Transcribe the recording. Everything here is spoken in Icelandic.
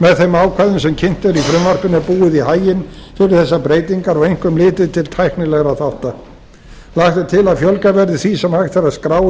með þeim ákvæðum sem kynnt eru í frumvarpinu er búið í haginn fyrir þessar breytingar og einkum litið til tæknilegra þátta lagt er til að fjölgað verði því sem hægt er að skrá í